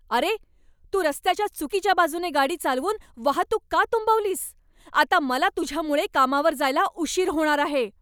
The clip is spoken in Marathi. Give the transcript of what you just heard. अरे, तू रस्त्याच्या चुकीच्या बाजूने गाडी चालवून वाहतूक का तुंबवलीस? आता मला तुझ्यामुळे कामावर जायला उशीर होणार आहे.